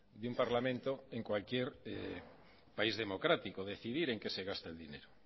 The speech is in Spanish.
de un parlamento en cualquier país democrático decidir en qué se gasta el dinero